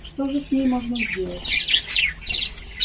что же с ней можно сделать